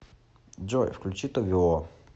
джой включи тове ло